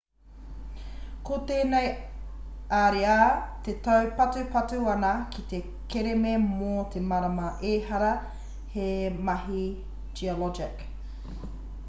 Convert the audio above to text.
ko tēnei ariā e taupatupatu ana ki te kereme mō te marama ehara he mahi geologic